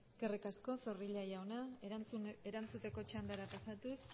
eskerrik asko zorrilla jauna erantzuteko txandara pasatuz